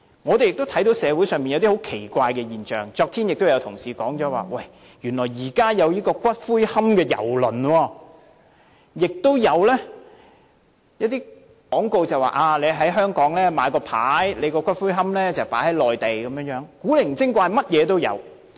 我們亦看到社會上出現了一些很奇怪的現象，昨天也有同事提到原來現在有"骨灰龕郵輪"，亦有廣告指可以在香港先買牌位，然後把骨灰龕放在內地，千奇百怪，無奇不有。